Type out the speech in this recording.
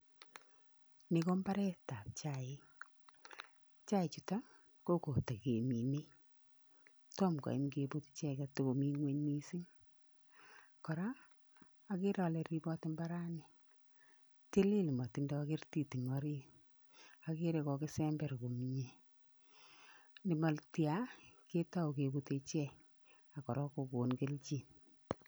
Ni ko mbaretap chaik. Chaichuto, ko kotakemine tom koyam keputchi takomi ng'ony mising. Kora, akere ale ripot mbarani, tilil motindoi kertit eng orit akere kokisember komie . Nematia, ketou kebute ichek, ak kora kokon kelchin.